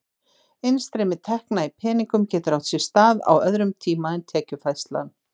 Innstreymi tekna í peningum getur átt sér stað á öðrum tíma en tekjufærslan.